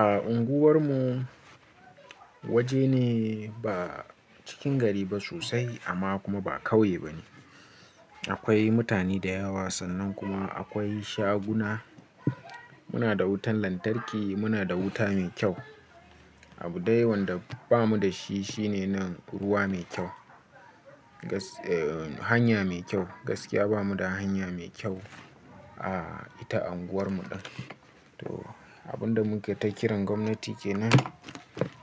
A unguwarmu waje ne ba cikin gari ba sosai amma kuma ba ƙauye ba ne. Akwai mutane da yawa sannan kuma akwai shaguna. Muna da wutan lantarki, muna da wuta mai kyau. Abunda wanda bamu da shi shine nan ruwa mai kyau. Hanya mai kyau, gaskiya bamu da hanya mai kyau a ita unguwarmu. To abin da muke ta kiran gwamnati kenan